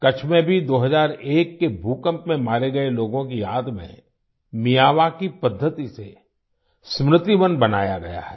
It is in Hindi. कच्छ में भी 2001 के भूकंप में मारे गए लोगों की याद में मियावाकी पद्धति से स्मृति वन बनाया गया है